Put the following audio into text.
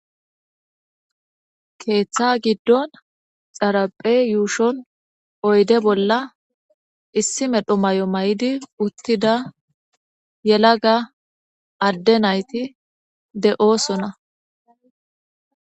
Keeththa giddon xaraphe yuushon oyde bolla issi medho may'o may7idi uttida yelaga adde nayti de'oosona.